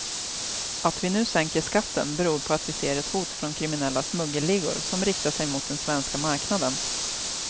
Att vi nu sänker skatten beror på att vi ser ett hot från kriminella smuggelligor som riktar sig mot den svenska marknaden.